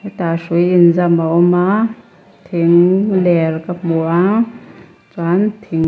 tah hrui inzam a awma thing ler ka hmu a chuan thing--